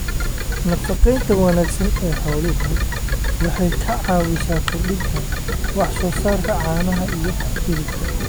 Nafaqaynta wanaagsan ee xooluhu waxay ka caawisaa kordhinta wax soo saarka caanaha iyo hilibka.